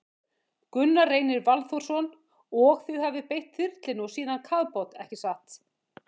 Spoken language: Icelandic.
Gunnar Reynir Valþórsson: Og þið hafið beitt þyrlunni og síðan kafbát, ekki satt?